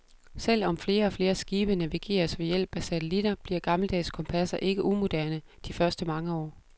Selv om flere og flere skibe navigeres ved hjælp af satellitter, bliver gammeldags kompasser ikke umoderne de første mange år.